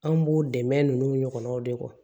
An b'o dɛmɛ ninnu ɲɔgɔn de k'o kɔ